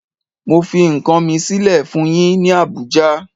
Mo fi nkan mi sile fun yin ni Abuja